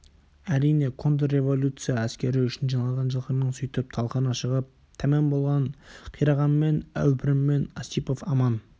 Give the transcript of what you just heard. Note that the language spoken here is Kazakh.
әрине контрреволюция әскері үшін жиналған жылқының сөйтіп талқаны шығып тәмам болған қирағанмен әупіріммен осипов аман